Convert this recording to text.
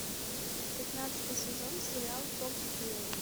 пятнадцатый сезон сериал том и джерри